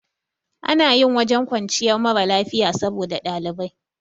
Ana yin wajen kwanciyar mara lafiya saboda ɗalibai